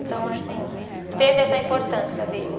Então, assim, teve essa importância dele.